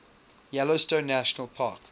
yellowstone national park